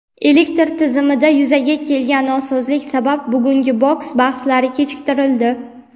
Elektr tizimida yuzaga kelgan nosozlik sabab bugungi boks bahslari kechiktirildi.